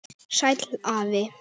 Sæll afi.